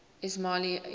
ismaili imams